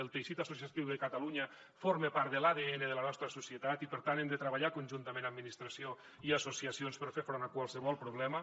el teixit associatiu de catalunya forma part de l’adn de la nostra societat i per tant hem de treballar conjuntament administració i associacions per fer front a qualsevol problema